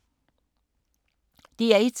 DR1